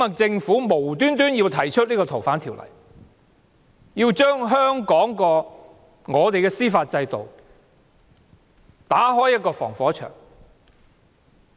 政府無故提出修訂《逃犯條例》，想將香港司法制度的防火牆拆除。